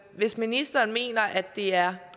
hvis ministeren mener at det er